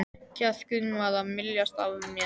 Kjarkurinn var að myljast af mér.